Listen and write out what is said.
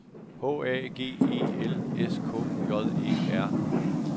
H A G E L S K J Æ R